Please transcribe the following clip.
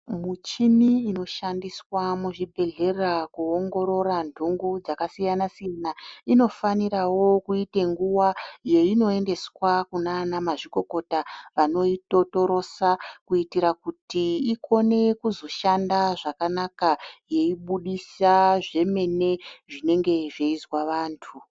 Muchini inoshandiswa muzvibhedhlera kuongorora nhungu dzakasiyana-siyana, inofanirawo kuita nguwa yeinoendeswa kunaana mazvikokota vanoitotorosa, kuitira kuti ikone kuzoshanda zvakanaka yeibudisa zvemene zvinenge zveizwa vantu.